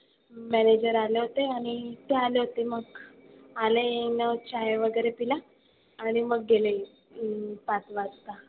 Manager आले होते आणि ते आले होते मग. आले आणि मग चाय वगैरे पिला. आणि मग गेले अं पाच वाजता.